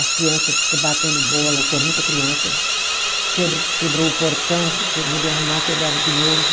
As criança fica batendo bola, que é muita criança, quebra quebrou o portão, eu mandei arrumar, quebraram de novo.